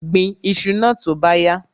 Gbin iṣu náà tó bá yá!